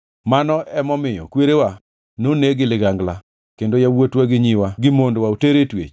Mano emomiyo kwerewa noneg gi ligangla kendo yawuotwa gi nyiwa gi mondwa oter e twech.